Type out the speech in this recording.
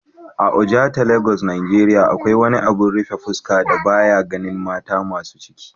a Ojota Lagos Nigeria, akwai wani abin rufe fuska da ba ya ganin mata masu ciki